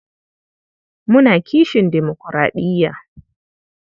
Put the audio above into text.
Muna kishin demokuraɗiya.